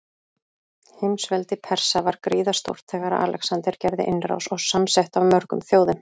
Heimsveldi Persa var gríðarstórt þegar Alexander gerði innrás, og samsett af mörgum þjóðum.